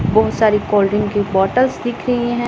बहुत सारी cold drink की बॉटल्स दिख रही हैं।